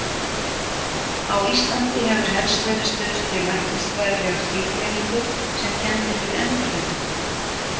Á Íslandi hefur helst verið stuðst við læknisfræðilega skilgreiningu sem kennd er við endurhæfingu.